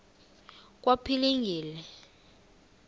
kwaphilingile